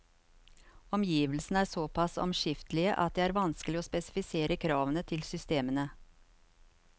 Omgivelsene er såpass omskiftelige at det er vanskelig å spesifisere kravene til systemene.